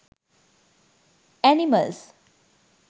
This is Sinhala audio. animals